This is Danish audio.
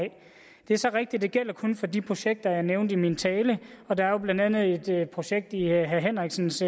det er så rigtigt at det kun gælder for de projekter jeg nævnte i min tale og der er jo blandt andet et projekt i herre henriksens